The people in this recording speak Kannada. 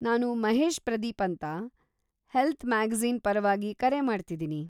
ನಾನು ಮಹೇಶ್ ಪ್ರದೀಪ್ ಅಂತ, ಹೆಲ್ತ್ ಮ್ಯಾಗಜೀ಼ನ್ ಪರವಾಗಿ ಕರೆ ಮಾಡ್ತಿದೀನಿ.